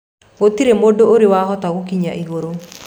Gũtirĩ mũndũ ũrĩ wahota gũkinya igũrũ.